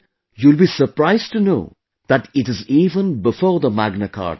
You will be surprised to know that it is even before the Magna Carta